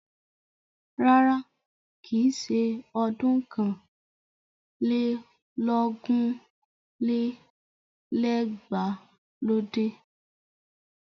Rárá, kìí ṣe ọdún ọ̀kàn lé lógún lé lẹ́gbàá ló dé.